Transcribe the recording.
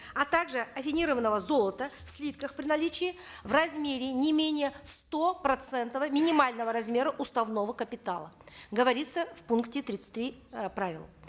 а также аффинированного золота в слитках при наличии в размере не менее сто процентного минимального размера уставного капитала говорится в пункте тридцать три э правил